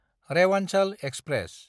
Rewanchal express